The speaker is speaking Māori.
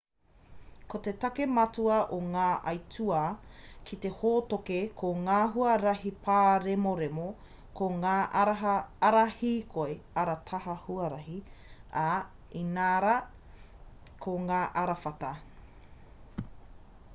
ko te take matua o ngā aituā ki te hōtoke ko ngā huarahi pāremoremo ko ngā ara hīkoi ara taha huarahi ā inarā ko ngā arawhata